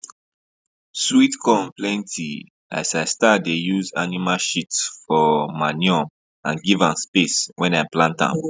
sweet corn plenty as i start dey use animal sheat um for manure and give am space when i plant am